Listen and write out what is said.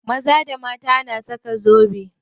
Maza da mata na saka zobe.